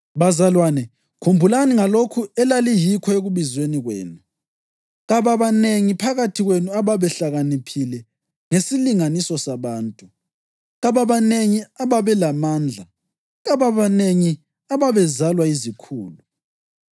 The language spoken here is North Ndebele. Bazalwane, khumbulani ngalokho elaliyikho ekubizweni kwenu. Kababanengi phakathi kwenu ababehlakaniphile ngesilinganiso sabantu; kababanengi ababelamandla; kababanengi ababezalwa yizikhulu.